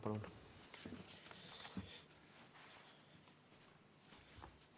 Palun!